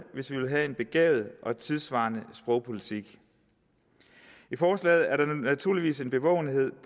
hvis vi vil have en begavet og tidssvarende sprogpolitik i forslaget er der naturligvis en bevågenhed